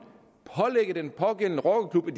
pålægge den pågældende rockerklub at